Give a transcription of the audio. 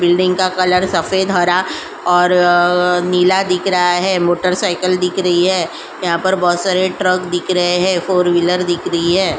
Building का colour सफेद हरा और नीला दिख रहा है। मोटरसाइकिल दिख रही है। यहाँ पर बहोत सारे ट्रक दिख रहे हैं। फोरव्हीलर दिख रही है।